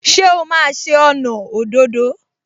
Ṣé o máa ṣe ọnà òdòdó?